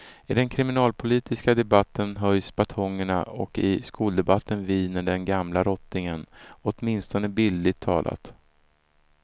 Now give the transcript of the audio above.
I den kriminalpolitiska debatten höjs batongerna och i skoldebatten viner den gamla rottingen, åtminstone bildligt talat.